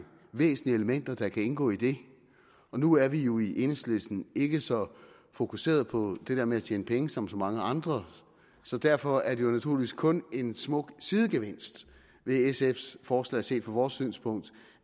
væsentlige elementer der kan indgå i det og nu er vi jo i enhedslisten ikke så fokuseret på det der med at tjene penge som så mange andre så derfor er det naturligvis kun en smuk sidegevinst ved sf’s forslag set fra vores synspunkt